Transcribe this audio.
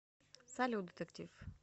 салют детектив